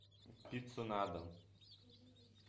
пицца на дом